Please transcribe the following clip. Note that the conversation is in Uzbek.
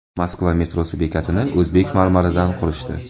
Moskva metrosi bekatini o‘zbek marmaridan qurishdi.